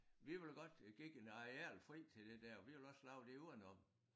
Vi ville godt give en areal fri til det der vi ville også lave det udenom